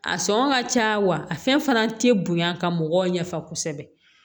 A sɔngɔ ka ca wa a fɛn fana tɛ bonya ka mɔgɔw ɲɛ fa kosɛbɛ